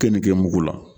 Keninge mugu la